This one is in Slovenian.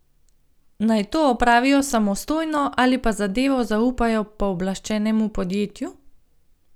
Naj to opravijo samostojno, ali pa zadevo zaupajo pooblaščenemu podjetju?